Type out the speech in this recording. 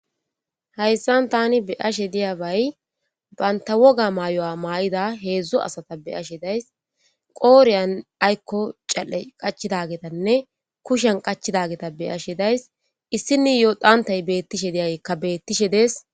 hayssan tani be ashe diyabay baynta woga maayo7a maa7ida heedzdzo asata beashe days qooreyan aykko cal7e qachidagetanne kushan qachidageta beyashe days issini yoo dhantay beettishe deyaykka beettishe dees